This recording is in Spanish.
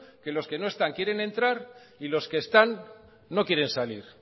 que los que no están quieren entrar y los que están no quieren salir